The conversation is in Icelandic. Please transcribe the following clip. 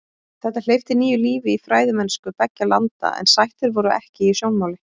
Þetta hleypti nýju lífi í fræðimennsku beggja landa en sættir voru ekki í sjónmáli.